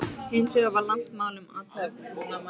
Hins vegar var langt mál um athafnamanninn